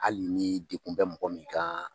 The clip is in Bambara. Hali ni degun bɛ mɔgɔ min kan.